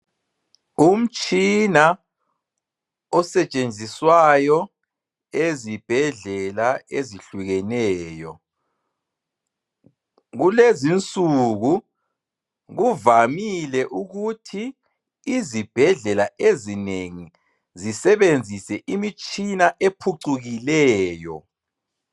Umtshina osetshenziswayo ezibhedlela ezihlukeneyo, kulezinsuku kuvamile ukuthi izibhedlela ezinengi zisebenzise imitshina ephucukileyo.